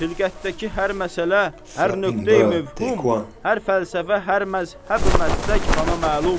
Xilqətdəki hər məsələ, hər nöqtəyi möhum, hər fəlsəfə, hər məzhəbi məslək bana məlum.